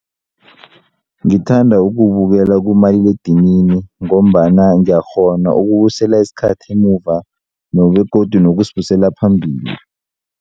Ngithanda ukuwubukela kumaliledinini ngombana ngiyakghona ukubusela isikhathi emuva begodu nokusibusela phambili.